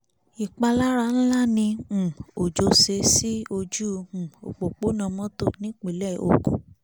ìpalára ńlá ni um òjò ṣe sí ojú um òpópónà mọ́tò nípínlẹ̀ ogun